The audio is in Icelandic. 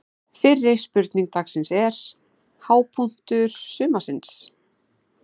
Fyrri spurning dagsins er: Hápunktur sumarsins?